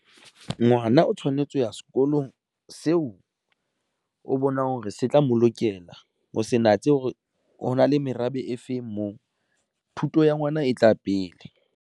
Ngwana o tshwanetse ho ya sekolong seo o bonang hore se tla mo lokela, ho se natse hore ho na le merabe e feng moo thuto ya ngwana e tla pele.